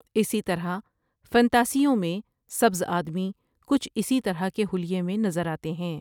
اسی طرح فنتاسیوں میں سبز آدمی کچھ اسی طرح کے حلیے میں نظر آتے ہیں ۔